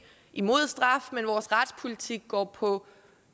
imod straf men vores retspolitik går på